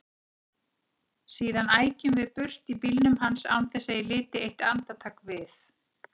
Síðan ækjum við burt í bílnum hans án þess að ég liti eitt andartak við.